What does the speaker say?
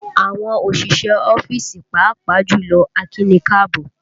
Àwọn òṣìṣẹ́ ọ́fíìsì, pàápàá jùlọ akíni káàbọ́